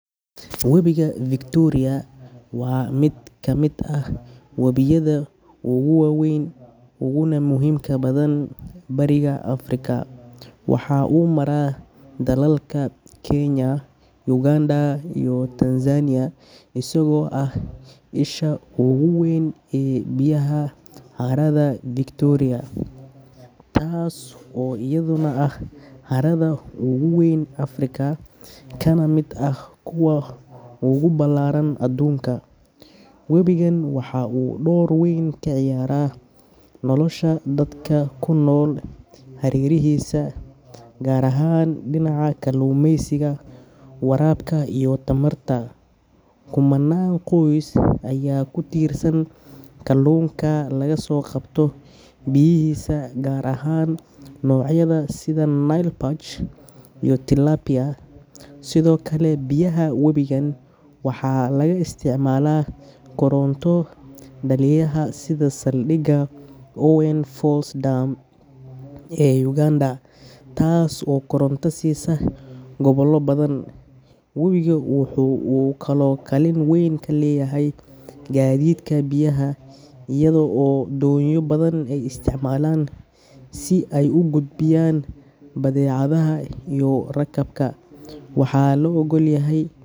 Webiga Victoria waa mid ka mid ah wabiyada ugu waaweyn uguna muhiimka badan bariga Afrika. Waxa uu maraa dalalka Kenya, Uganda iyo Tanzania, isagoo ah isha ugu weyn ee biyaha harada Victoria, taas oo iyaduna ah harada ugu weyn Afrika kana mid ah kuwa ugu ballaaran adduunka. Webigan waxa uu door weyn ka ciyaaraa nolosha dadka ku nool hareerihiisa, gaar ahaan dhinaca kalluumeysiga, waraabka iyo tamarta. Kumanaan qoys ayaa ku tiirsan kalluunka laga soo qabto biyihiisa, gaar ahaan noocyada sida Nile Perch iyo Tilapia. Sidoo kale, biyaha webigan waxaa laga isticmaalaa koronto dhaliyaha sida saldhiga Owen Falls Dam ee Uganda, taas oo koronto siisa gobollo badan. Webigu waxa uu kaloo kaalin weyn ku leeyahay gaadiidka biyaha, iyada oo doonyo badan ay isticmaalaan si ay u gudbiyaan badeecadaha iyo rakaabka. Waxaa la ogalyahy.